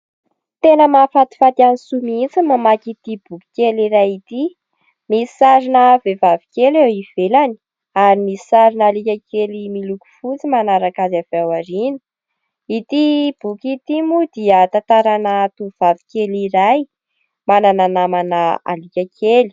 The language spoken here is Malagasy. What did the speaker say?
Tena mahafatifaty an'i Soa mihitsy mamaky ity boky kely iray ity: misy sarina vehivavy kely eo ivelany ary misy sarina alika kely miloko fotsy manaraka azy avy ao aoriana ity boky ; ity moa dia tantarana tovovavy kely iray manana namana alika kely.